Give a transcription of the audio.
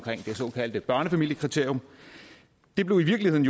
det såkaldte børnefamiliekriterium det blev i virkeligheden